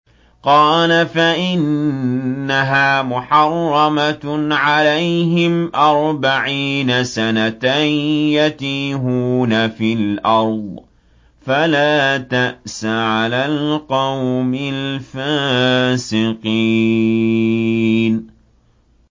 قَالَ فَإِنَّهَا مُحَرَّمَةٌ عَلَيْهِمْ ۛ أَرْبَعِينَ سَنَةً ۛ يَتِيهُونَ فِي الْأَرْضِ ۚ فَلَا تَأْسَ عَلَى الْقَوْمِ الْفَاسِقِينَ